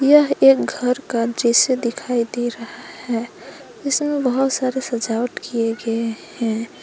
यह एक घर का दृश्य दिखाई दे रहा है इसमें बहुत सारे सजावट किए गए हैं।